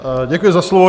Děkuji za slovo.